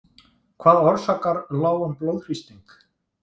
Hvað orsakar lágan blóðþrýsting?